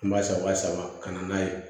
An b'a san waa saba ka na n'a ye